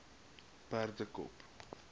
perdekop